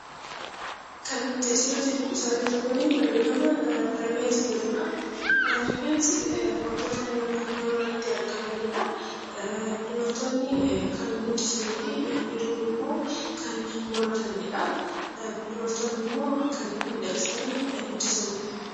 Rifeensi wantoota namarratti argamanidha. Dubartoonni kan guddisanii fi dhiironni kan muratanidha. Dubartoonni immoo kan miidhagsanii guddisanidha.